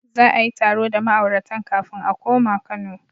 Za a yi taro da ma'auratan kafin su koma Kano.